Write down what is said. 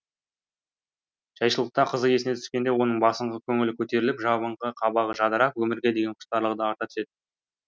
жайшылықта қызы есіне түскенде оның басыңқы көңілі көтеріліп жабыңқы қабағы жадырап өмірге деген құштарлығы да арта түсетін